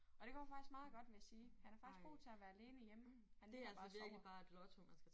Og det går faktisk meget godt vil jeg sige. Han er faktisk god til at være alene hjemme han sidder bare og sover